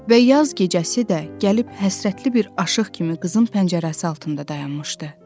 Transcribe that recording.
Və yaz gecəsi də gəlib həsrətli bir aşiq kimi qızın pəncərəsi altında dayanmışdı.